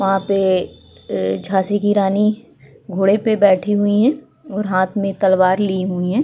वहाँ पे अ झासी की रानी घोड़े पे बैठी हुई हैं और हाथ मै तलवार ली हुई हैं।